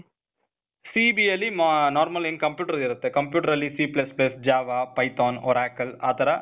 CEBA ಅಲ್ಲಿ normal ಏನ್ computer ಇರತ್ತೆ. computer ಆಲ್ಲಿ C++, Java, Python, Oracle ಆ ಥರ